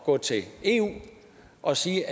gå til eu og sige